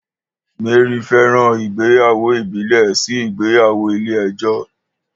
Mary fẹ́ràn ìgbéyàwó ìbílẹ̀ sí ìgbéyàwó ilé ẹjọ́.